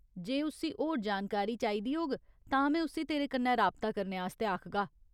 जे उस्सी होर जानकारी चाहिदी होग तां में उस्सी तेरे कन्नै राबता करने आस्तै आखगा।